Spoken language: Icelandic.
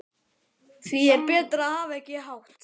Því er betra að hafa ekki hátt.